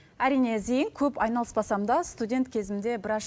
әрине зейін көп айналыспасам да студент кезімде біраз